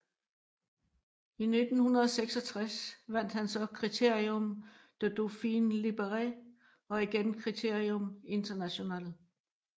I 1966 vandt han så Critérium de Dauphiné Libéré og igen Criterium International